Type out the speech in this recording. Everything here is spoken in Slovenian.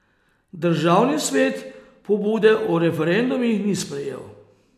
Državni svet pobude o referendumih ni sprejel.